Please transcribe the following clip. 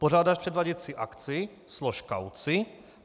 Pořádáš předváděcí akci, slož kauci.